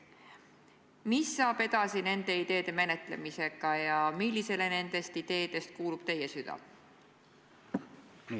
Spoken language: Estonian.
Mis saab nendest ideedest edasi ja millisele nendest ideedest kuulub teie süda?